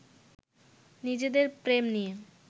নিজেদের প্রেম নিয়ে